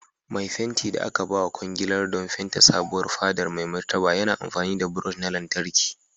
Mai fenti da aka bawa kwangilar don fente sabuwar fadar Mai Martaba yana amfani da brush na lantarki.